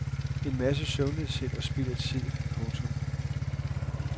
En masse søvnløshed og spild af tid. punktum